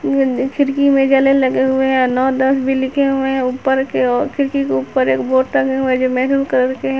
ई वाला खिड़की में जाले लगे हुए हैं नौ दस भी लिखे हुए हैं ऊपर की ओर खिड़की के ऊपर एक बोर्ड टंगे हुए हैं जो मैरून कलर के हैं।